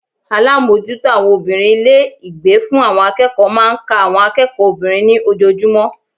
Alámójútó àwon obìnrin Ilé ìgbé fún àwon akéèkó máa n ka àwon akéèkó obìnrin ní ojojúmó